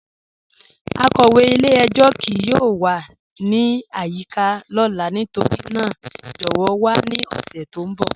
Akọwe ilẹ̀-ẹ̀jọ kíì yọọ wà ni ayika lọla nítorína jọwọ wà ni ọṣẹ ti n bọ.